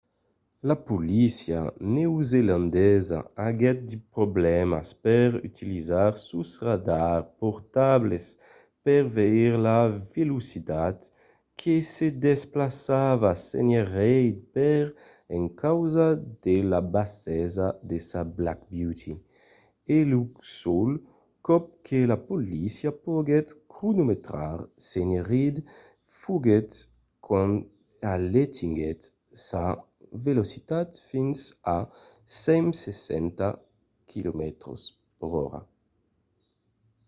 la polícia neozelandesa aguèt de problèmas per utilizar sos radars portables per veire la velocitat que se desplaçava sénher reid per encausa de la bassesa de sa black beauty e lo sol còp que la polícia poguèt cronometrar sénher reid foguèt quand alentiguèt sa velocitat fins a 160 km/h